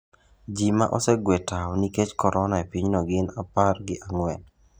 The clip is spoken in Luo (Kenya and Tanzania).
Ji ma osegwe tawo nikech korona e pinyno gin apar gi ang'wen.